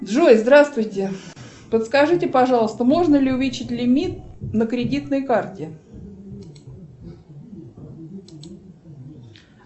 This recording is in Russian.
джой здравствуйте подскажите пожалуйста можно ли увеличить лимит на кредитной карте